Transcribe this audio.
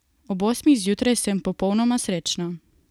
Ob osmih zjutraj sem popolnoma srečna.